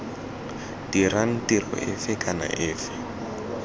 dirang tiro efe kana efe